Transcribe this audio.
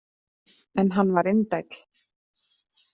En hann var indæll.